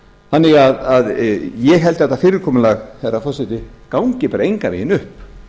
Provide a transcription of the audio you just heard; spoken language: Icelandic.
það þannig að ég held að þetta fyrirkomulag herra forseti gangi bara engan veginn upp